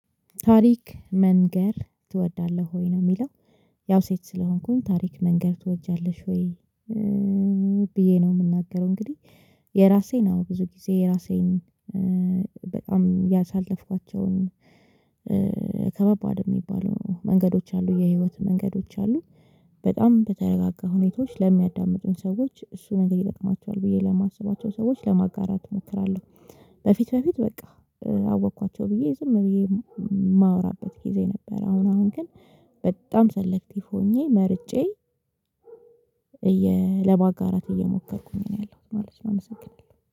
ታሪክ መንገር ትወዳለህ ወይ ነው የሚለው ያው ሴት ስለሆንኩኝ ታሪክ መንገር ትወጃለሽ ወይ? ብዬ ነው የምናገረው እንግዲህ። የራሴን አዎ ብዙ ጊዜ የራሴን በጣም ያሳለፍኳቸውን ከበባድ የሚባሉ መንገዶች አሉ የህይወት መንገዶች አሉ። በጣም በተረጋጋ ሁኔታዎች ለሚያዳምጡኝ ሰዎች እሱ ነገር ይጠቅማቸዋል ብዬ ለማስባቸው ሰዎች ለማጋራት እሞክራለሁ። በፊት በፊት በቃ አወኳቸው ብዬ ዝም ብዬ የማወራበት ጊዜ ነበር። አሁን አሁን ግን በጣም ሰሌክቲቭ ሆኜ መርጬ እየ ለማጋራት እየሞከርኩኝ ነው ያለሁት ማለት ነው። የሚመሰግናለው